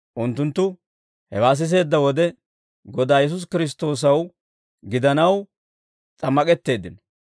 Unttunttu hewaa siseedda wode, Godaa Yesuusi Kiristtoossaw gidanaw s'ammak'etteeddino.